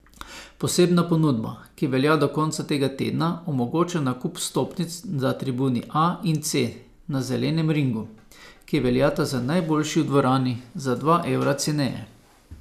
Posebna ponudba, ki velja do konca tega tedna, omogoča nakup vstopnic za tribuni A in C na zelenem ringu, ki veljata za najboljši v dvorani, za dva evra ceneje.